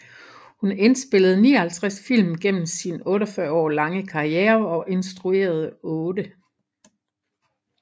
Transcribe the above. Hun indspillede 59 film gennem sin 48 år lange karriere og instruerede otte